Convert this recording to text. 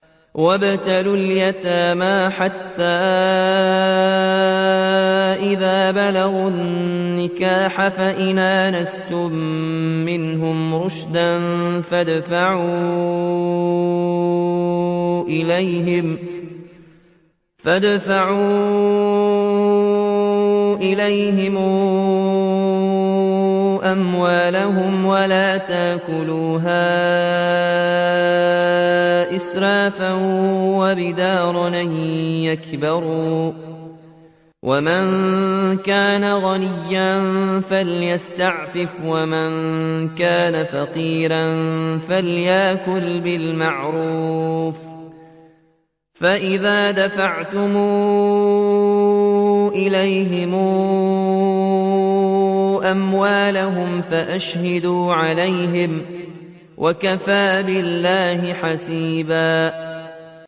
وَابْتَلُوا الْيَتَامَىٰ حَتَّىٰ إِذَا بَلَغُوا النِّكَاحَ فَإِنْ آنَسْتُم مِّنْهُمْ رُشْدًا فَادْفَعُوا إِلَيْهِمْ أَمْوَالَهُمْ ۖ وَلَا تَأْكُلُوهَا إِسْرَافًا وَبِدَارًا أَن يَكْبَرُوا ۚ وَمَن كَانَ غَنِيًّا فَلْيَسْتَعْفِفْ ۖ وَمَن كَانَ فَقِيرًا فَلْيَأْكُلْ بِالْمَعْرُوفِ ۚ فَإِذَا دَفَعْتُمْ إِلَيْهِمْ أَمْوَالَهُمْ فَأَشْهِدُوا عَلَيْهِمْ ۚ وَكَفَىٰ بِاللَّهِ حَسِيبًا